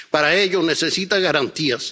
Para ello necesita garantías.